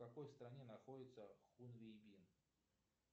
в какой стране находится хунвейбин